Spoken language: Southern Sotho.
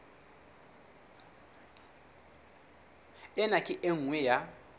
ena ke e nngwe ya